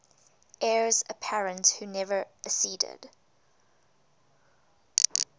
heirs apparent who never acceded